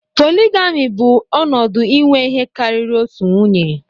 Polygyny bụ ọnọdụ inwe ihe karịrị otu nwunye